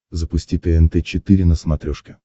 запусти тнт четыре на смотрешке